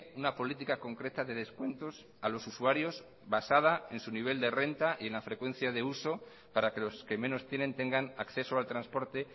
una política concreta de descuentos a los usuarios basada en su nivel de renta y en la frecuencia de uso para que los que menos tienen tengan acceso al transporte